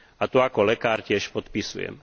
A to ako lekár tiež podpisujem.